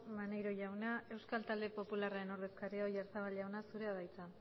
maneiro jauna euskal talde popularraren ordezkaria oyarzabal jauna zurea da hitza